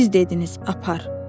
Siz dediniz, apar.